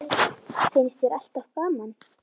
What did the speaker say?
Finnst þér alltaf gaman?